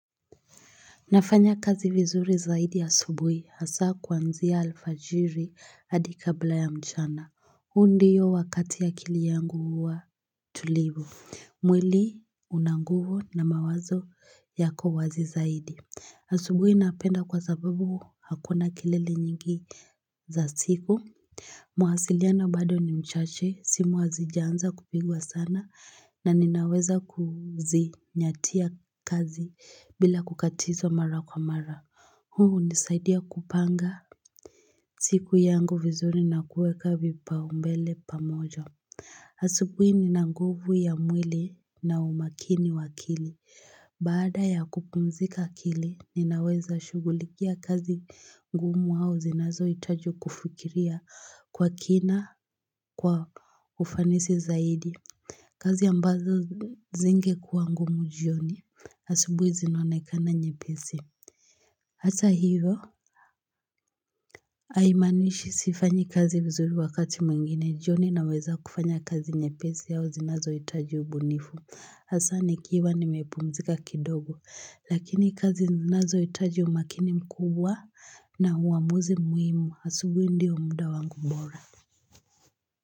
Nafanya kazi vizuri zaidi asubuhi hasa kuanzia alfajiri hadi kabla ya mchana. Huu ndiyo wakati akili yangu huwa tulivu. Mwili una nguvu na mawazo yako wazi zaidi. Asubuhi napenda kwa sababu hakuna kelele nyingi za siku. Mwasiliano bado ni mchache simu hazija anza kupigwa sana na ninaweza kuzi nyatia kazi bila kukatizwa mara kwa mara. Huu hunisaidia kupanga siku yangu vizuri na kueka vipaumbele pamoja. Asubuhi nina nguvu ya mwili na umakini wa akili. Baada ya kupumzika akili, ninaweza shughulikia kazi ngumu au zinazohitaji kufikiria kwa kina kwa ufanisi zaidi. Kazi ambazo zingekuwa ngumu jioni, asubuhi zinonekana nyepesi. Hata hivo, haimaanishi sifanyi kazi vizuri wakati mwingine, jioni naweza kufanya kazi nyepesi au zinazohitaji ubunifu. Hasa nikiwa nimepumzika kidogo lakini kazi zinazohitaji umakini mkubwa na uamuzi muhimu asubuhi ndio mda wangu bora.